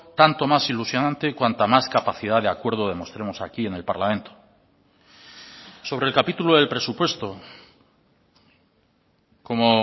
tanto más ilusionante cuanta más capacidad de acuerdo demostremos aquí en el parlamento sobre el capítulo del presupuesto como